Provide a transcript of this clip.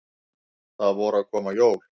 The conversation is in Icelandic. Það voru að koma jól.